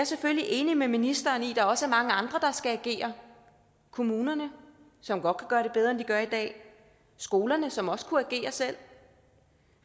selvfølgelig enig med ministeren i at der også er mange andre der skal agere kommunerne som godt kan gøre det bedre end de gør i dag skolerne som også kunne agere selv